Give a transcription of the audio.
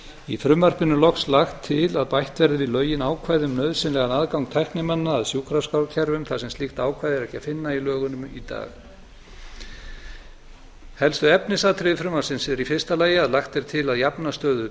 í frumvarpinu er loks lagt til að bætt verði við lögin ákvæðum um nauðsynlegan aðgang tæknimanna að sjúkraskrárkerfum þar sem slíkt ákvæði er ekki að finna í lögunum í dag helstu efnisatriði frumvarpsins eru í fyrsta lagi að lagt er til að jafna stöðu